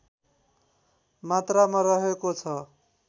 मात्रामा रहेको छ